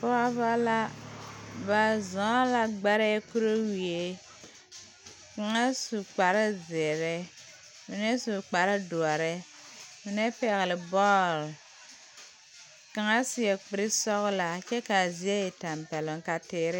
Pɔɔbɔ la ba zɔɔ la gbɛrɛɛ kuriwie kaŋa su kparezeere mine su kparedoɔre mine pɛgle bɔɔl kaŋa seɛ kurisɔglaa kyɛ kaa zie e tampɛloŋ ka teere.